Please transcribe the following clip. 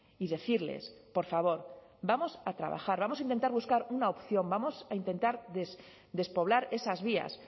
y decirles por favor vamos a trabajar vamos a intentar buscar una opción vamos a intentar despoblar esas vías